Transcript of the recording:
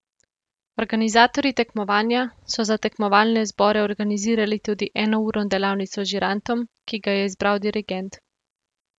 Organizatorji tekmovanja so za tekmovalne zbore organizirali tudi enourno delavnico z žirantom, ki ga je izbral dirigent.